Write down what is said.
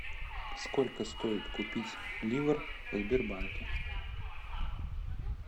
сколько стоит купить ливр в сбербанке